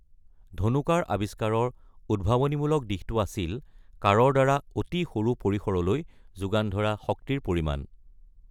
ধনু-কাঁড় আৱিষ্কাৰৰ উদ্ভাৱনীমূলক দিশটো আছিল কাঁড়ৰ দ্বাৰা অতি সৰু পৰিসৰলৈ যোগান ধৰা শক্তিৰ পৰিমাণ।